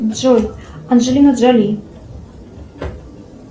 джой анджелина джоли